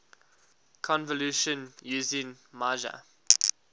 convolution using meijer